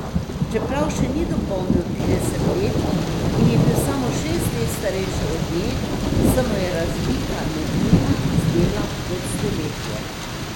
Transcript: Čeprav še ni dopolnil trideset let in je bil samo šest let starejši od nje, se mu je razlika med njima zdela kot stoletje.